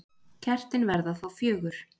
Kertin verða þá fjögur.